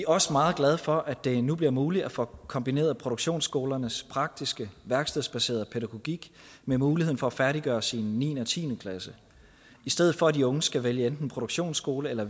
også meget glade for at det nu bliver muligt at få kombineret produktionsskolernes praktiske værkstedsbaserede pædagogik med muligheden for at færdiggøre sin niende og tiende klasse i stedet for at de unge skal vælge enten produktionsskole eller